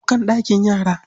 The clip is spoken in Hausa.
Kukan daki yara?